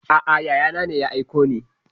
A'a yaya na ne ya aiko ni.